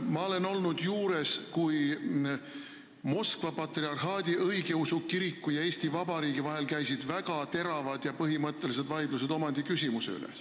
Ma olen juures olnud, kui Moskva patriarhaadi õigeusu kiriku ja Eesti Vabariigi vahel käisid väga teravad ja põhimõttelised vaidlused omandiküsimuse üle.